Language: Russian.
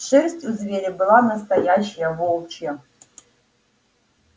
шерсть у зверя была настоящая волчья